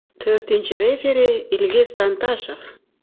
To‘rtinchi referi Ilgiz Tantashev.